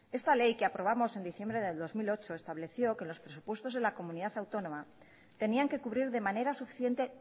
esta ley que aprobamos en diciembre del dos mil ocho estableció que los presupuestos de la comunidad autónoma tenían que cubrir de manera suficiente